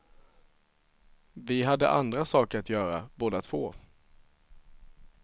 Vi hade andra saker att göra, båda två.